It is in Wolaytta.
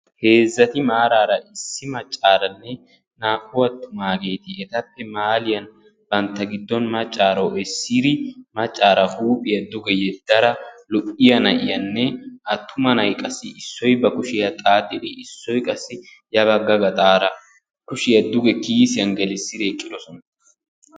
Heezzati maaraara issi maccaaranne naa"u attumaageti etappe mahaalliyan bantta giddon macaro essidi macaara huuphiya duge yedada lo'iyaa na'iyanne atuma na'ay qassi issoy ba kushiya xaaxxi issoy qassi ya bagga gaxaara kushiya duge kiisiyan gelsidi eqqiis.